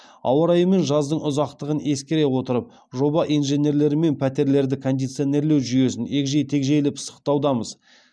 ауа райы мен жаздың ұзақтығын ескере отырып жоба инженерлерімен пәтерлерді кондиционерлеу жүйесін егжей тегжейлі пысықтаудамыз